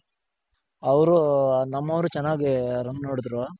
ಅವ್ರು ನಮ್ಮವ್ರ್ ಚೆನಾಗಿ run ಹೊಡೆದ್ರು.